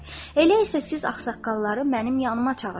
Elə isə siz ağsaqqalları mənim yanıma çağırın.